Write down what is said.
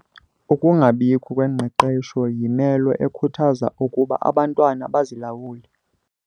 Ukungabikho kwengqeqesho yimelo ekhuthaza ukuba abantwana bazilawule.